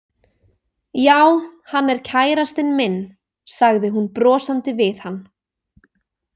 Já, hann er kærastinn minn, sagði hún brosandi við hann.